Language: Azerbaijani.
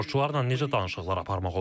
Terrorçularla necə danışıqlar aparmaq olar?